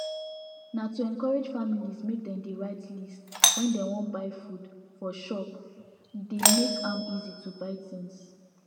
na to encourage families make dem dey write list when dem wan buy food for shop e dey make am easy to buy things